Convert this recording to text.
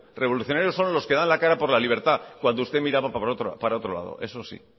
revolucionarios son los que dan la cara por la libertad cuando usted miraba para otro lado eso sí